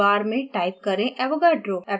search bar में type करे avogadro